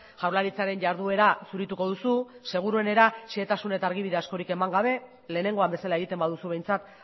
jaurlaritzaren jarduera zurituko duzu seguruenera xehetasun eta argibide askorik eman gabe lehenengoan bezala egiten baduzu behintzat